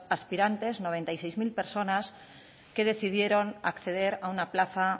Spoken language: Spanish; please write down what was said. aspirantes noventa y seis mil personas que decidieron acceder a una plaza